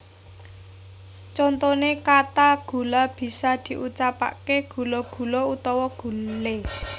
Contone kata gula bisa diucapke gula gulo utawa gule